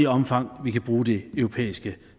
omfang vi kan bruge det europæiske